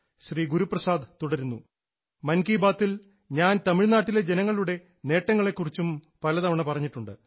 ശ്രീ ഗുരുപ്രസാദ് തുടരുന്നു മൻ കി ബാത്തിൽ ഞാൻ തമിഴ്നാട്ടിലെ ജനങ്ങളുടെ നേട്ടങ്ങളെ കുറിച്ചും പലതവണ പറഞ്ഞിട്ടുണ്ട്